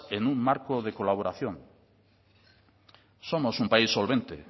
en un marco de colaboración somos un país solvente